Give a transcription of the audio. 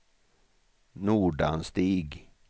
Nordanstig